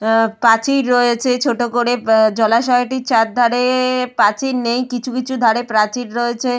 আহ প্রাচীর রয়েছে ছোট করে আহ জলাশয় টির চারধারে প্রাচীর নেই কিছু কিছু ধারে প্রাচীর রয়েছে।